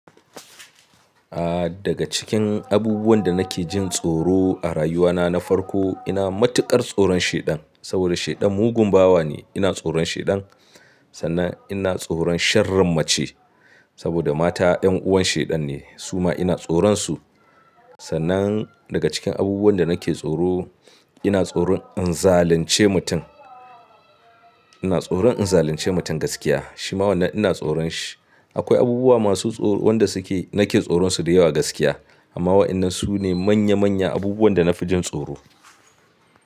Aaa daga cikin abubuwan da nake jin tsoro a rayuwa na, na farko ina matuƙar tsoron shaiɗan saboda shaiɗan mugun bawa ne. Ina tsoron shaiɗan sannan ina tsoron sharin mace saboda mata 'yan uwan shaiɗan ne suma ina tsoron su. Sannan daga cikin abubuwan da nake tsoro ina tsoron in zalunce mutum. Ina tsoron in zalunce mutum gaskiya shima wannan ina tsoron shi. Akwai abubuwa masu tsoro wanda suke nake tsoron su da yawa gaskiya amma waɗannan sune manya manya abubuwan da na fi jin tsoro.